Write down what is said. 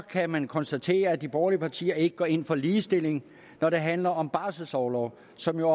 kan man konstatere at de borgerlige partier ikke går ind for ligestilling når det handler om barselsorlov som jo